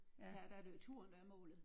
Her der er det jo turen der er målet